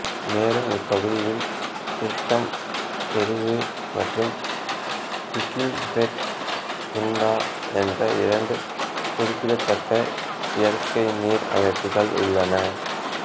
மேலும் இப்பகுதியில் துர்கம் செருவு மற்றும் ஹக்கிம்பேட்டு குன்டா என்ற இரண்டு குறிப்பிடத்தக்க இயற்கை நீர் அமைப்புகள் உள்ளன